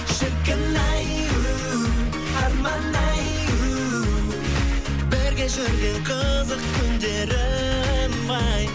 шіркін ай у арман ай у бірге жүрген қызық күндерім ай